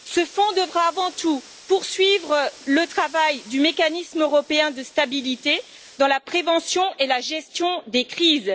Ce fonds devra avant tout poursuivre le travail du Mécanisme européen de stabilité dans la prévention et la gestion des crises.